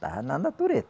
Estava na natureza.